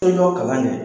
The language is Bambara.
Toɲɔn kalan kɛ